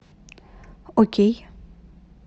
окей